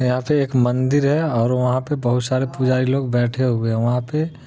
यहा पे एक मंदिर है और वहां पे बहुत सारे पुजारी लोग बैठे हुए है वहा पे--